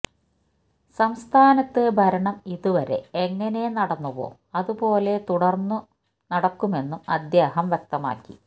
സംസ്ഥാനത്ത് ഭരണം ഇതുവരെ എങ്ങനെ നടന്നുവോ അതുപോലെ തുടര്ന്നും നടക്കുമെന്നും അദ്ദേഹം വ്യക്തമമാക്കി